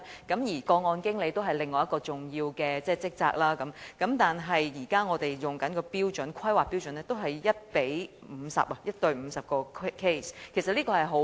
個案經理是另一個重要的職位，而我們現在採用的規劃標準是 1：50， 即1名個案經理處理50宗個案。